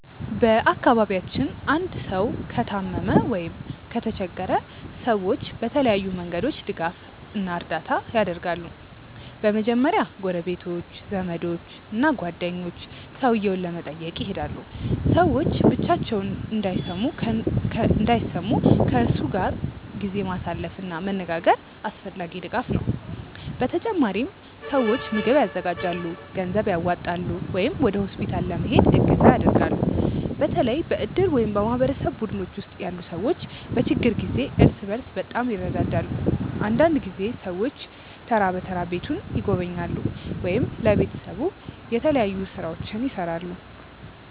በአካባቢያችን አንድ ሰው ከታመመ ወይም ከተቸገረ ሰዎች በተለያዩ መንገዶች ድጋፍ እና እርዳታ ያደርጋሉ። በመጀመሪያ ጎረቤቶች፣ ዘመዶች እና ጓደኞች ሰውየውን ለመጠየቅ ይሄዳሉ። ሰዎች ብቻቸውን እንዳይሰሙ ከእነሱ ጋር ጊዜ ማሳለፍ እና መነጋገር አስፈላጊ ድጋፍ ነው። በተጨማሪም ሰዎች ምግብ ያዘጋጃሉ፣ ገንዘብ ያዋጣሉ ወይም ወደ ሆስፒታል ለመሄድ እገዛ ያደርጋሉ። በተለይ በእድር ወይም በማህበረሰብ ቡድኖች ውስጥ ያሉ ሰዎች በችግር ጊዜ እርስ በርስ በጣም ይረዳዳሉ። አንዳንድ ጊዜ ሰዎች ተራ በተራ ቤቱን ይጎበኛሉ ወይም ለቤተሰቡ የተለያዩ ሥራዎችን ይሠራሉ።